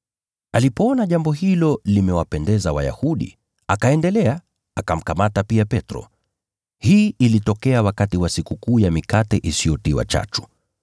Alipoona jambo hilo limewapendeza Wayahudi, akaendelea, akamkamata pia Petro. Hii ilitokea wakati wa Sikukuu ya Mikate Isiyotiwa Chachu.